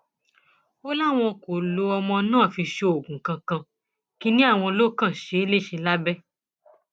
ó láwọn kò lo ọmọ náà fi ṣoògùn kankan kínní àwọn ló kàn ṣe é léṣe lábẹ